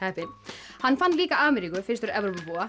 heppinn hann fann líka Ameríku fyrstur Evrópubúa